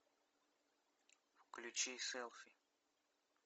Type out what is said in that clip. включи селфи